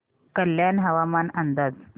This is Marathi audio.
कल्याण हवामान अंदाज